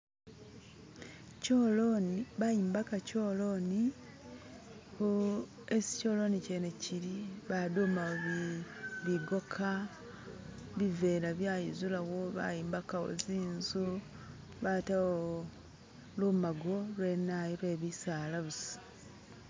kyoloni, bayombaka kyoloni mboo hesi kyoloni kyene kyili badumawo bi bigoka bivela byayizulawo, bayimbakawo zinzu batawo lumago lwe nayu lwe bisaala busa